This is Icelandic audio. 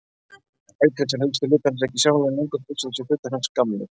Auk þess eru elstu hlutar hans ekki sjáanlegir lengur þó vissulega séu hlutar hans gamlir.